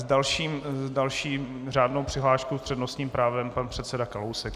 S další řádnou přihláškou s přednostním právem pan předseda Kalousek.